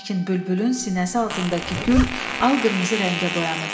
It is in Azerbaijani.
Lakin bülbülün sinəsi altındakı gül al-qırmızı rəngə boyanıb.